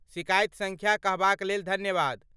सिकाइति सङ्ख्या कहबाक लेल धन्यवाद।